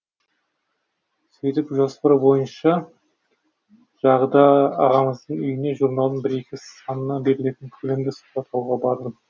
сөйтіп жоспар бойынша жағда ағамыздың үйіне журналдың бір екі санына берілетін көлемді сұхбат алуға бардым